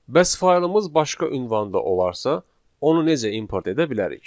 Bəs faylımız başqa ünvanda olarsa, onu necə import edə bilərik?